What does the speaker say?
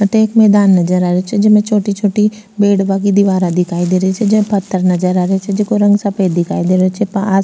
अठ एक मैदान नजर आ रो छे जेमे छोटी छोटी बिडबा की दिवारा दिखाई दे रही छे जेमे पत्थर नजर आ रा छे जेको रंग सफ़ेद दिखाई दे रो छे पास --